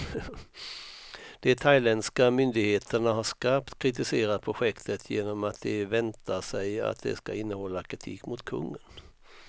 De thailändska myndigheterna har skarpt kritiserat projektet, genom att de väntar sig att det ska innehålla kritik mot kungen.